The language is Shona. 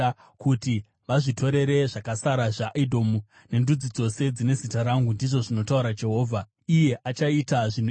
kuti vazvitorere zvakasara zvaEdhomu nendudzi dzose dzine zita rangu,” ndizvo zvinotaura Jehovha, iye achaita zvinhu izvi.